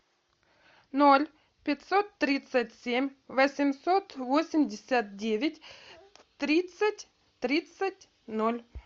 ноль пятьсот тридцать семь восемьсот восемьдесят девять тридцать тридцать ноль